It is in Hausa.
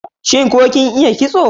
Shin ko kin iya kitso?